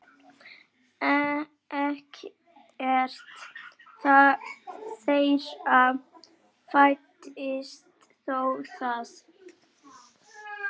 Ekkert þeirra fæddist þó þar.